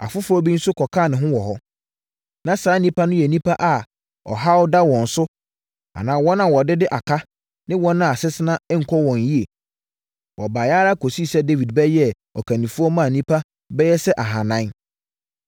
Afoforɔ bi nso kɔkaa ne ho wɔ hɔ. Na saa nnipa no yɛ nnipa a ɔhaw da wɔn so anaa wɔn a wɔdede aka ne wɔn a asetena nkɔ wɔn yie. Wɔbaeɛ ara kɔsii sɛ Dawid bɛyɛɛ ɔkannifoɔ maa nnipa bɛyɛ sɛ ahanan.